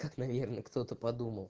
как наверное кто-то подумал